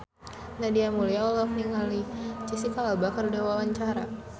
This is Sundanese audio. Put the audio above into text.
Nadia Mulya olohok ningali Jesicca Alba keur diwawancara